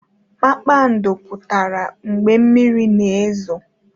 Kpakpando pụtara mgbe mmiri na-ezo